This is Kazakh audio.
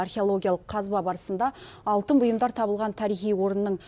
археологиялық қазба барысында алтын бұйымдар табылған тарихи орынның